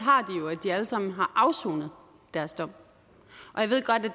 de alle sammen har afsonet deres dom